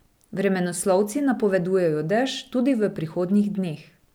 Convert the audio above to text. Vremenoslovci napovedujejo dež tudi v prihodnjih dneh.